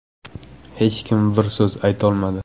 Hech kim bir so‘z aytolmadi.